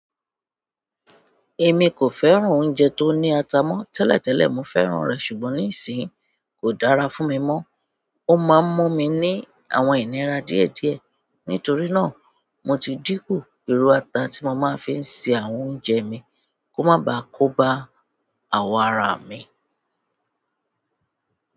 Èmi kò fẹ́ràn oúnjẹ tó ní ata mọ́. Tẹ́lẹ̀ tẹ́lẹ̀ mo fẹ́ràn rẹ̀ ṣùgbọ́n nísìín kò dára fún mi mọ́. Ó máa ń mú mi ní àwọn ìnira díẹ̀ díẹ̀. Nítorí náà, mo ti dínkù irú ata tí mo máa ń fi se àwọn oúnjẹ mi kó má baà kóbá àwọ̀n ara mi.